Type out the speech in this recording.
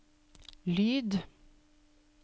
lyd